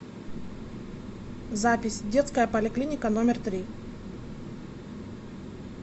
запись детская поликлиника номер три